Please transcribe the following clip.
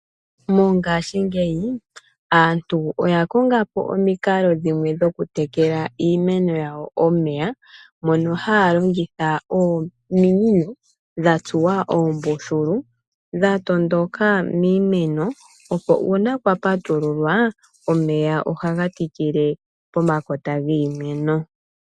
Mongaashingeyi aantu oya konga po omikalo dhimwe, dhoku tekela iimeno yawo omeya, mono haya longitha ominino, dha tsuwa oombululu, dha tondoka miimeno, opo uuna kwa patululwa, omeya ohaga tikile pomakota giimeno.